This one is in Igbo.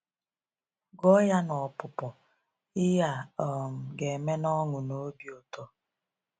Gụọ ya n’ọpụpụ, ihe a um ga-eme n’ọṅụ na obi ụtọ.